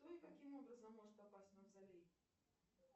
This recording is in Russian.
кто и каким образом может попасть в мавзолей